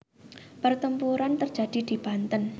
Pertempuran terjadi di Banten